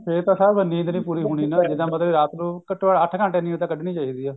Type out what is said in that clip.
ਫੇਰ ਤਾਂ ਸਾਹਬ ਨੀਂਦ ਨਹੀਂ ਪੂਰੀ ਹੋਣੀ ਨਾ ਇਹਦਾ ਮਤਲਬ ਰਾਤ ਨੂੰ ਘੱਟੋ ਘੱਟ ਅੱਠ ਘੰਟੇ ਨੀਂਦ ਤਾਂ ਕੱਢਨੀ ਚਾਹੀਦੀ ਐ